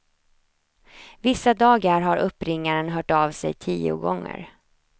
Vissa dagar har uppringaren hört av sig tio gånger.